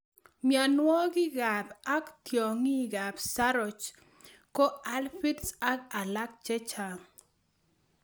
Mionwokikab ak tiongikab saroch ko aphids ak alak chechang'.